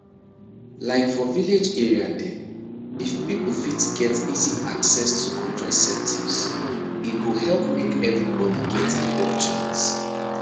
like for village area dem if people fit get easy access to contraceptives e go help make everybody get equal chance